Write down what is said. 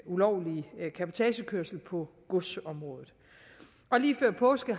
ulovlige cabotagekørsel på godsområdet lige før påske